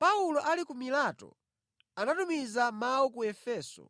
Paulo ali ku Mileto, anatumiza mawu ku Efeso